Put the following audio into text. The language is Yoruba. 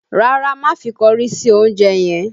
Rárá, má fi kọrí sí oúnjẹ yẹn